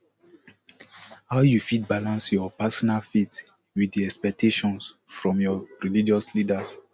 how you fit balance your personal faith with di expectations from your religious leaders